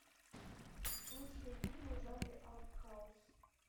лучшие фильмы в жанре арт хаус